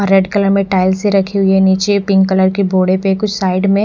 red colour में tiles सी रखी हुई है नीचे पिंक कलर के घोड़े में कुछ साइड में--